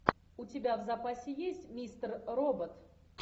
у тебя в запасе есть мистер робот